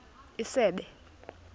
isebe